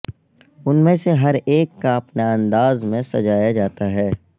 ان میں سے ہر ایک کا اپنا انداز میں سجایا جاتا ہے